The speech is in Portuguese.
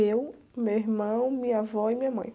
Eu, meu irmão, minha avó e minha mãe.